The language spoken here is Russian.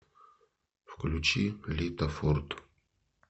включи лита форд